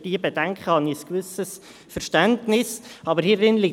Wir kommen zur Abstimmung.